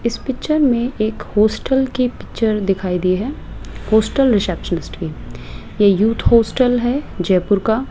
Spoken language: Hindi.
इस पिक्चर में एक हॉस्टल की पिक्चर दिखाई दी है हॉस्टल रिसेप्शनिस्ट की ये यूथ हॉस्टल है जयपुर का --